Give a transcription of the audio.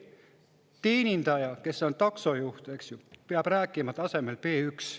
Taksojuht, kes on teenindaja, peab rääkima tasemel B1.